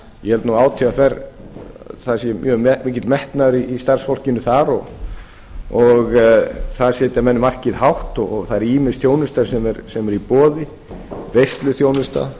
ég held nú að átvr það sé mjög mikill metnaður í starfsfólkinu þar og þar setja menn markið hátt og það er ýmis þjónusta sem er í boði veisluþjónustu